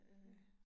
Ja